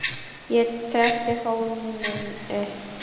Ég trekkti fóninn upp.